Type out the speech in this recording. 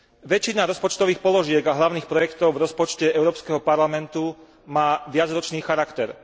Väčšina rozpočtových položiek a hlavných projektov v rozpočte Európskeho parlamentu má viacročný charakter.